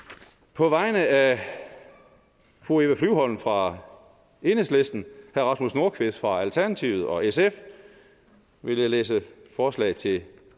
på vegne af fru eva flyvholm fra enhedslisten herre rasmus nordqvist fra alternativet og sf vil jeg læse forslag til